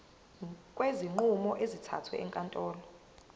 kwezinqumo ezithathwe ezinkantolo